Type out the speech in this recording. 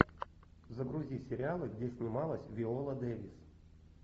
загрузи сериалы где снималась виола дэвис